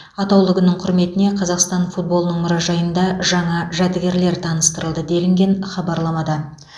атаулы күннің құрметіне қазақстан футболының мұражайында жаңа жәдігерлер таныстырылды делінген хабарламада